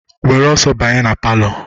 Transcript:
Were ọsọ banye na palọ!